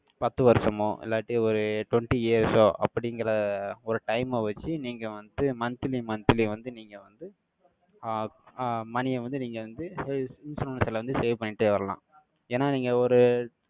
பத்து வருஷமோ, இல்லாட்டி, ஒரு twenty years ஓ, அப்படிங்கிற ஒரு time அ வச்சு, நீங்க வந்து, monthly monthly வந்து, நீங்க வந்து, ஆஹ் ஆஹ் money அ வந்து, நீங்க வந்து, அஹ் insurance ல வந்து, save பண்ணிட்டே வரலாம். ஏன்னா, நீங்க ஒரு,